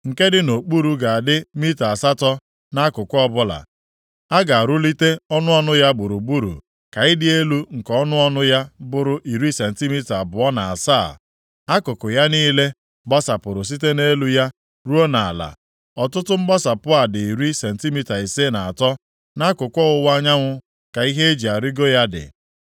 Nke dị nʼokpuru ga-adị mita asatọ nʼakụkụ ọbụla; a ga-arụlite ọnụ ọnụ ya gburugburu, ka ịdị elu nke ọnụ ọnụ ya bụrụ iri sentimita abụọ na asaa. Akụkụ ya niile gbasapụrụ site nʼelu ya ruo nʼala. Ọtụtụ mgbasapụ a dị iri sentimita ise na atọ. Nʼakụkụ ọwụwa anyanwụ ka ihe e ji arịgo ya dị.”